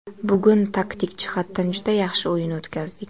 Bugun taktik jihatdan juda yaxshi o‘yin o‘tkazdik.